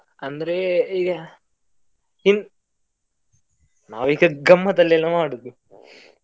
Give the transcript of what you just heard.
ಅಂದ್ರೆ ಈಗ, ಇನ್, ನಾವ್ ಈಗ ಗಮ್ಮತ್ ಅಲ್ಲಿ ಎಲ್ಲಾ ಮಾಡುದು .